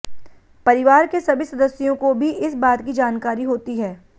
परिवार के सभी सदस्याें काे भी इस बात की जानकारी हाेती है